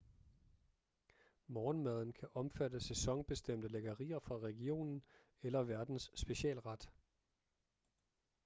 morgenmaden kan omfatte sæsonbestemte lækkerier fra regionen eller værtens specialret